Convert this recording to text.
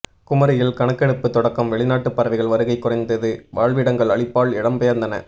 குமரியில் கணக்கெடுப்பு தொடக்கம் வெளிநாட்டு பறவைகள் வருகை குறைந்தது வாழ்விடங்கள் அழிப்பால் இடம் பெயர்ந்தன